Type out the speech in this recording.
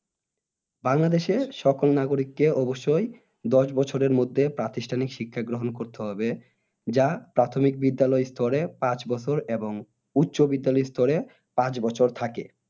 বাংলাদেশে সকল নাগরীকে অবশ্যই দশ বছরের মধ্যে প্রাতিষ্ঠানিক শিক্ষা গ্রহণ করতে হবে যা প্রাথমিক বিদ্যালয় স্তরে পাঁচ বছর এবং উচ্চ বিদ্যালয় স্তরে পাঁচ বছর থাকে